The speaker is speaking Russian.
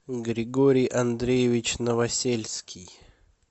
григорий андреевич новосельский